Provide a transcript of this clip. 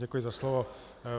Děkuji za slovo.